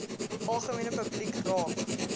algemene publiek raak